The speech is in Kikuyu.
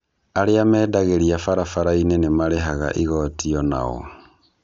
Arĩa mendagĩria barabara-inĩ nĩmarĩhaga igoto onao.